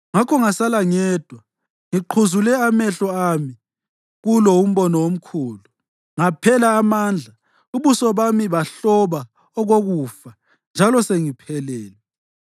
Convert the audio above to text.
Ngakho ngasala ngedwa, ngiqhuzule amehlo ami kulo umbono omkhulu; ngaphela amandla, ubuso bami bahloba okokufa njalo sengiphelelwe.